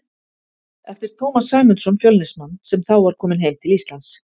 eftir Tómas Sæmundsson, Fjölnismann, sem þá var kominn heim til Íslands.